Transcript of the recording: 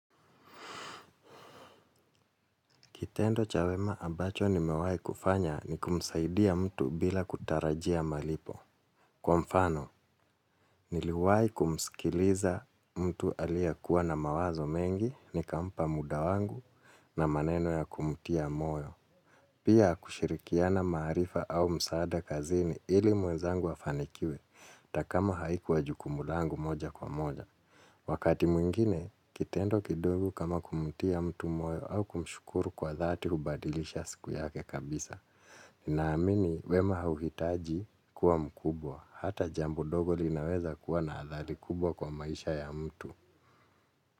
Kitendo cha wema ambacho nimewahi kufanya ni kumsaidia mtu bila kutarajia malipo. Kwa mfano, niliwahi kumskiliza mtu aliyekuwa na mawazo mengi nikampa muda wangu na maneno ya kumtia moyo. Pia kushirikiana maarifa au msaada kazini ili mwenzangu afanikiwe hata kama haikuwa jukumu langu moja kwa moja. Wakati mwingine, kitendo kidogo kama kumtia mtu moyo au kumshukuru kwa dhati hubadilisha siku yake kabisa. Ninaamini wema hauhitaji kuwa mkubwa. Hata jambo dogo linaweza kuwa na athari kubwa kwa maisha ya mtu.